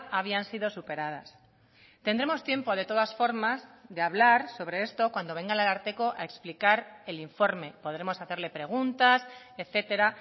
habían sido superadas tendremos tiempo de todas formas de hablar sobre esto cuando venga el ararteko a explicar el informe podremos hacerle preguntas etcétera